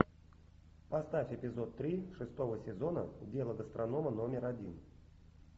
поставь эпизод три шестого сезона дело гастронома номер один